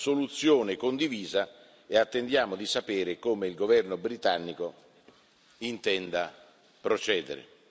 soluzione condivisa e attendiamo di sapere come il governo britannico intenda procedere.